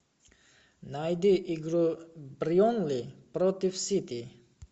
найди игру бернли против сити